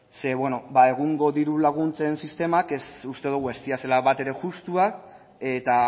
zeren beno egungo diru laguntzen sistemak uste dugu ez direla bat ere justuak eta